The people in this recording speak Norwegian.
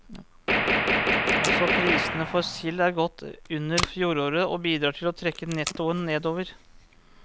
Også prisene for sild er godt under fjoråret, og bidrar til å trekke nettoen nedover.